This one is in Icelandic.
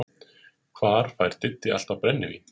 Hvar fær Diddi alltaf brennivín?